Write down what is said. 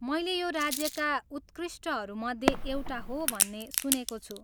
मैले यो राज्यका उत्कृष्टहरू मध्ये एउटा हो भन्ने सुनेको छु।